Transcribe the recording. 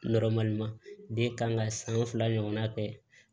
den kan ka san fila ɲɔgɔnna kɛ